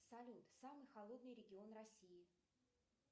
салют самый холодный регион россии